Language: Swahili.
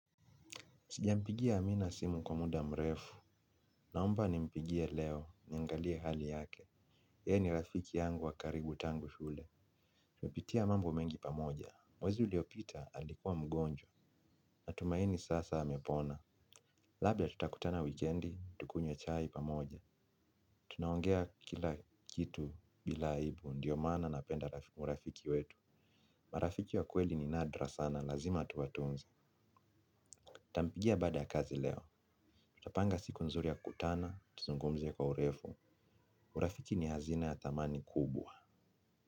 Sijampigia amina simu kwa muda mrefu, naomba nimpigie leo, niangalie hali yake, yeye ni rafiki yangu wa karibu tangu shule. Tumepitia mambo mengi pamoja, mwezi uliopita alikuwa mgonjwa, nina tumaini sasa amepona. Labda tutakutana wikendi, tukunye chai pamoja, tunaongea kila kitu bila aibu, ndiyo maana napenda marafiki wetu. Marafiki wa kweli ni nadra sana, lazima tuwatunze. Nitampigia baada ya kazi leo, tutapanga siku nzuri ya kukutana, tuzungumze kwa urefu, urafiki ni hazina ya thamani kubwa.